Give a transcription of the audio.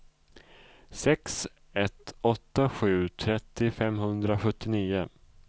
sex ett åtta sju trettio femhundrasjuttionio